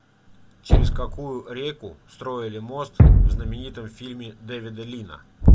через какую реку строили мост в знаменитом фильме дэвида лина